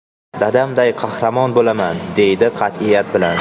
Dadamday qahramon bo‘laman!” deydi qat’iyat bilan.